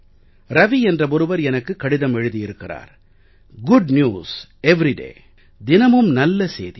ரவி என்ற ஒருவர் எனக்கு கடிதம் எழுதியிருக்கிறார் குட் நியூஸ் எவரிடே தினமும் நல்ல சேதி